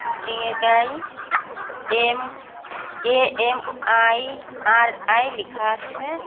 Building -এর গায়ে MAMIRI লেখা আছে।